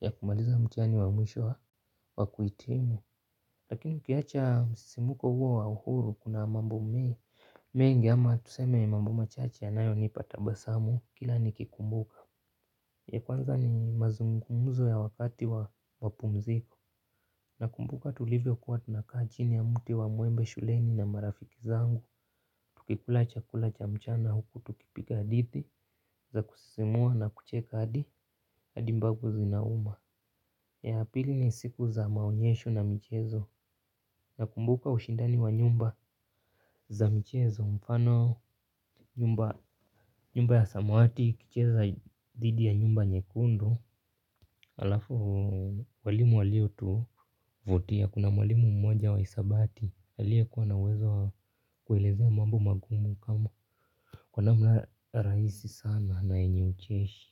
ya kumaliza mtihani wa mwisho wa kuitimu. Lakini ukiacha msisimko huo wa uhuru kuna mambo mengi ama tuseme mambo machache yanayonipa tabasamu kila nikikumbuka. Ya kwanza ni mazungumzo ya wakati wa mapumziko. Nakumbuka tulivyokuwa tunakaa chini ya mti wa mwembe shuleni na marafiki zangu. Tukikula chakula cha mchana huku tukipiga hadidhi za kusisimua na kucheka adi mbavu zinauma, ya apili ni siku za maonyesho na mchezo. Nakumbuka ushindani wa nyumba za michezo. Mfano nyumba ya samawati ikicheza didhi ya nyumba nyekundu. Alafu, walimu walio tuvutia kuna walimu mmoja wa hisabati aliye kuwa na uwezo kuelezea mambo magumu kama kwa namna rahisi sana na yenye ucheshi.